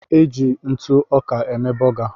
E ji ntụ ọka eme bọga